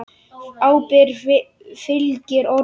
Ábyrgð fylgir orðum.